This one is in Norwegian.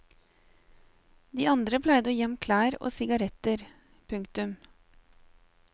De andre pleide å gi ham klær og sigaretter. punktum